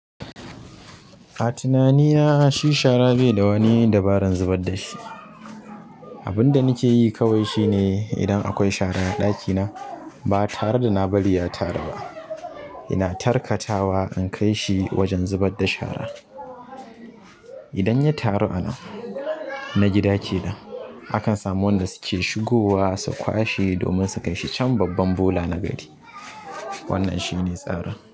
A tunani na shi shara baida wani dabaran zubar dashi. Abunda nake yi kawai shine idan akwai shara a ɗakina ba tare da na bari ya taru ba. Ina tarkatawa in kai shi wajen zubar da shara. Idan ya taru anan na gida ke nan, akan samu wanda suke shigowa su kwashe domin su kai shi can babban bola na gari. Wannan shine tsarin.